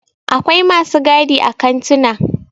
akwai masu gadi a kantuna